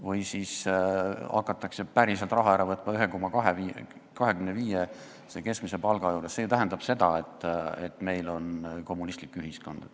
Või kui hakatakse päriselt raha ära võtma palga puhul, mis 1,25 keskmist palka, siis see tähendab ju seda, et meil on kommunistlik ühiskond.